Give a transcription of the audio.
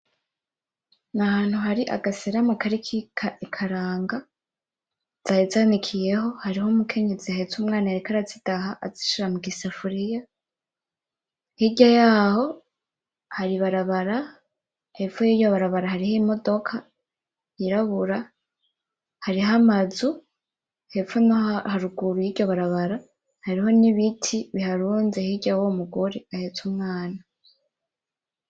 Nahantu hari agaserama kariko ikaranga, zari zanikiyeho hariho umukenyezi ahetse umwana yariko arazidaha azishira mugisafuriya, hiryayaho hari ibarabara , hepfo yiryo barabara hariho imodoka yirabura, hariho amazu hepfo naho haruguru yiryo barabara hariho nibiti biharunze hirya yuwo mugore ahetse umwana.